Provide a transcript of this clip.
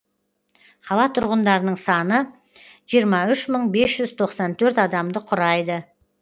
қала тұрғындарының саны жиырма үш мың бес жүз тоқсан төрт адамды құрайды